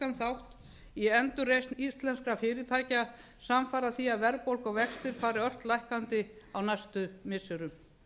þátt í endurreisn íslenskra fyrirtækja samfara því að verðbólga og vextir fari ört lækkandi á næstu missirum